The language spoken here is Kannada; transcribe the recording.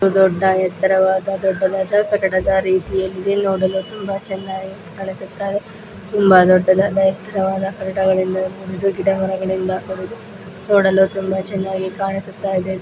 ಇದು ದೊಡ್ಡ ಎತ್ತರವಾದ ದೊಡ್ಡದಾದ ಕಟ್ಟಡದ ರೀತಿಯಲ್ಲಿ ನೋಡಲು ತುಂಬಾ ಚೆನ್ನಾಗಿ ಕಾಣಿಸುತ್ತ ಇದೆ. ತುಂಬಾ ದೊಡ್ಡದಾದ ಎತ್ತರವಾದ ಗಿಡ-ಮರಗಳಿಂದ ಕೂಡಿದ ನೋಡಲು ತುಂಬಾ ಚೆನ್ನಾಗಿ ಕಾಣಿಸುತ್ತ ಇದೆ.